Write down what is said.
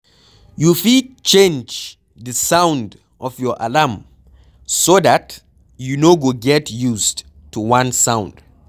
you fit change di sound of your alarm so dat you no go get used to one sound